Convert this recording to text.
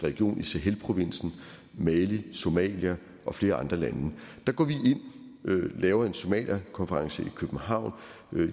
region i sahelprovinsen mali somalia og flere andre lande der går vi ind laver en somaliakonference i københavn